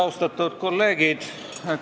Austatud kolleegid!